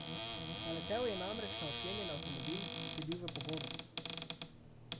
Naletel je namreč na odklenjen avtomobil, ki je bil v pogonu.